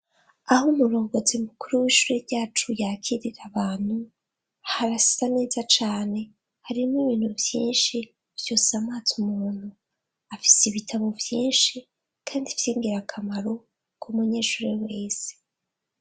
Aho murongozi mukuru w'ishure ryacu ,yakirira abantu harasa neza cane harimo ibintu vyinshi vyosamaza umuntu afise ibitabo vyinshi kandi vyingira akamaro ku munyeshure wese.